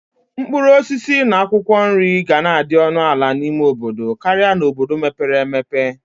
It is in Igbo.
Mkpuruosisi na akwokwo nri gana adi onu ala n'ime obodo Kari n"obodo mepere emepe.